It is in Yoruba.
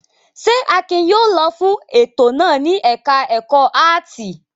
Ṣé Akin yóò lọ fún ètò náà ní ẹ̀ka-ẹ̀kọ́ áátì?